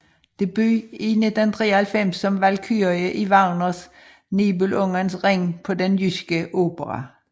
Debut i 1993 som valkyrie i Wagners Nibelungens Ring på Den Jyske Opera